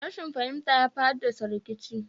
Rashin fahimta yafi haddasa rikici